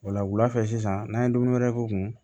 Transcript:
O la wulafɛ sisan n'an ye dumuni wɛrɛ k'u kun